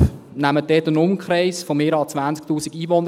Dort nehmen Sie einen Umkreis von 20’000 Einwohnern.